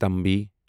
تُمبی